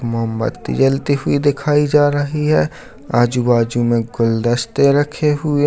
मोमबत्ती जलती हुई दिखाई जा रही है आजू-बाजू मे गुलदस्ते रखे हुए --